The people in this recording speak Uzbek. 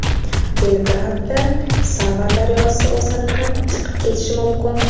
Belgradda Sava daryosi o‘zanidan chiqib ketishi mumkin.